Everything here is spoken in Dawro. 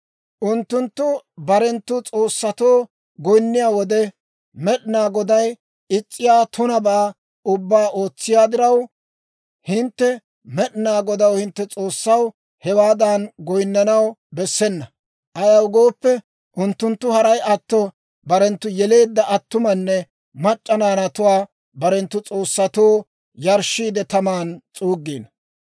Unttunttu barenttu s'oossatoo goyinniyaa wode, Med'inaa Goday is's'iyaa tunabaa ubbaa ootsiyaa diraw, hintte Med'inaa Godaw, hintte S'oossaw, hewaadan goyinnanaw bessena. Ayaw gooppe, unttunttu haray atto barenttu yeleedda attumanne mac'c'a naanatuwaa barenttu s'oossatoo yarshshiide, taman s'uuggiino.